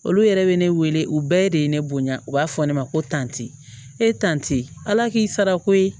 Olu yɛrɛ bɛ ne wele u bɛɛ de ye ne bonya u b'a fɔ ne ma ko tantɛ e tan te ala k'i sarako ye